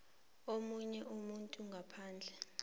omunye umuntu ngaphandle